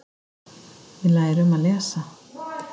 Við lærum að lesa.